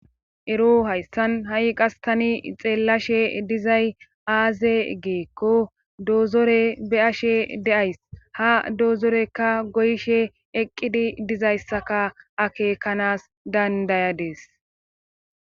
Ero hayssan ha7i qas tani xeellashe dizay aaze geekko doozore be7ashe deays ha doozorekka goyshe eqqidi dizayssaka akeekanas dandayadees.